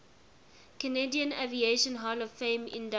canadian aviation hall of fame inductees